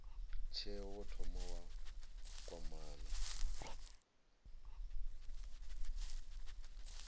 tsheo wo thoma wa kwamana